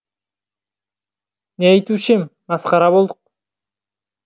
не айтушы ем масқара болдық